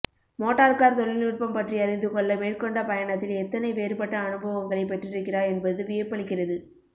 motor car தொழில்நுட்பம் பற்றி அறிந்து கொள்ள மேற்கொண்ட பயணத்தில் எத்தனை வேறுபட்ட அனுபவங்களைப் பெற்றிருக்கிறார் என்பது வியப்பளிக்கிறது